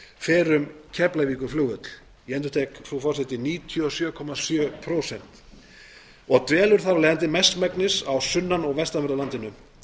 þúsund og níu ég endurtek frú forseti níutíu og sjö komma sjö prósent fer um keflavíkurflugvöll og dvelur þar af leiðandi mestmegnis á sunnan og vestanverðu landinu